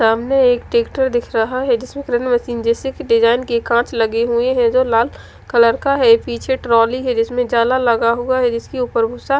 सामने एक ट्रैक्टर दिख रहा है जिसमें एक डिजाइन के कांच लगे हुए हैं जो लाल कलर का है पीछे ट्रॉली है जिसमे जाला लगा हुआ है जिसके ऊपर --